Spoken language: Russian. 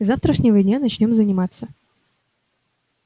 с завтрашнего дня начнём заниматься